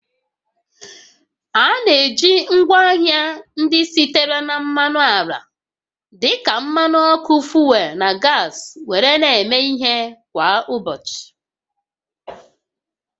A na-eji ngwaahịa ndị sitere na mmanụ ala dịka mmanụ ọkụ fuel na gas were na-eme ihe kwa ụbọchị